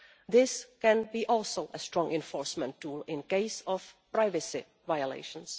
This can also be a strong enforcement tool in case of privacy violations.